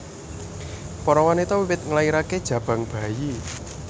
Para wanita wiwit nglairaké jabang bayi